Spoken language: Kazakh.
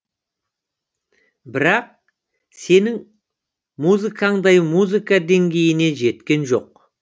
бірақ сенің музыкаңдай музыка деңгейіне жеткен жоқ